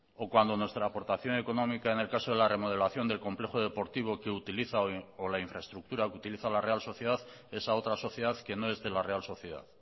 o cuando nuestra aportación económica en el caso de la remodelación del complejo deportivo que utiliza o la infraestructura que utiliza la real sociedad es a otra sociedad que no es de la real sociedad